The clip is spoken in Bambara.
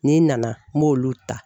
N'i nana n b'olu ta